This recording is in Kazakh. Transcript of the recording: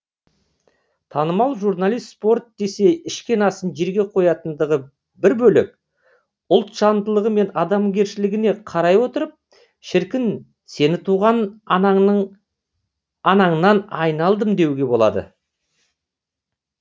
танымал журналист спорт десе ішкен асын жерге қоятындығы бір бөлек ұлтжандылығы мен адамгершілігіне қарай отырып шіркін сені туған анаңнан айналдым деуге болады